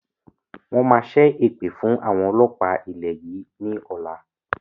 Wọn máa ṣẹ èpè fún àwọn ọlọ́pa ilẹ̀ yìí ni ọ̀la